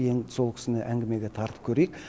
енді сол кісіні әңгімеге тартып көрейік